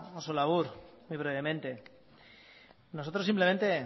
oso labur muy brevemente nosotros simplemente